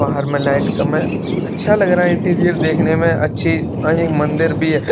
बाहर में लाइट कम है अच्छा लग रहा है इंटीरियर देखने में अच्छी अय मंदिर भी है।